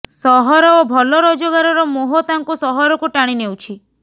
ସହର ଓ ଭଲ ରୋଜଗାରର ମୋହ ତାଙ୍କୁ ସହରକୁ ଟାଣି ନେଉଛି